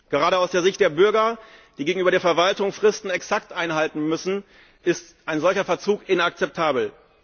Gerade aus der Sicht der Bürger, die gegenüber der Verwaltung Fristen exakt einhalten müssen, ist ein solcher Verzug inakzeptabel.